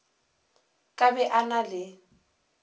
ka be a na le